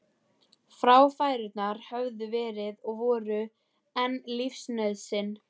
Fráfærurnar höfðu verið og voru enn lífsnauðsyn.